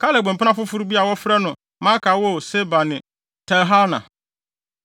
Kaleb mpena foforo bi a wɔfrɛ no Maaka woo Seber ne Tirhana.